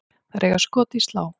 Þær eiga skot í slá.